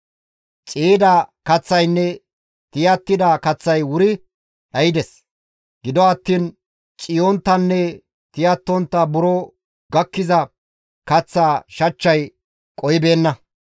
Ciiyida kaththaynne tiyattida kaththay wuri dhaydes; gido attiin ciiyonttanne tiyattontta buro gakkiza kaththaa shachchay qohibeenna.